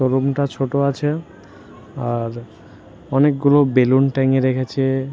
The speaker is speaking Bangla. রুম -টা ছোট আছে আর অনেকগুলো বেলুন টাঙিয়ে রেখেছে-এ।